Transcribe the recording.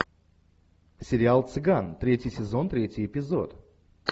сериал цыган третий сезон третий эпизод